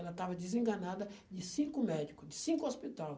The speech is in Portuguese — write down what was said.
Ela estava desenganada de cinco médico, de cinco hospital.